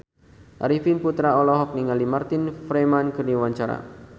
Arifin Putra olohok ningali Martin Freeman keur diwawancara